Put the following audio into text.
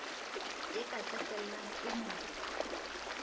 e ka qetellang e mo